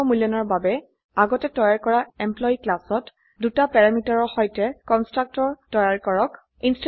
আত্ম মূল্যায়নৰ বাবে আগতে তৈয়াৰ কৰা এমপ্লয়ী ক্লাসত দুটা প্যাৰামিটাৰৰ সৈতে কন্সট্ৰকটৰ তৈয়াৰ কৰক